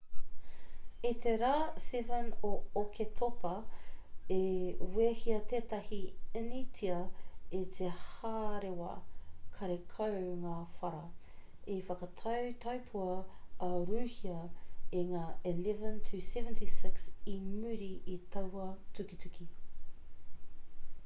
i te rā 7 o oketopa i wehea tētahi initia i te hārewa karekau ngā whara i whakatau taupua a rūhia i ngā ii-76 i muri i taua tukituki